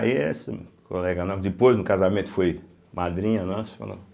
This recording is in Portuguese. essa colega, depois no casamento foi madrinha nossa, falou.